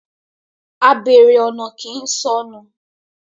A béèrè ọ̀nà kii sọnù.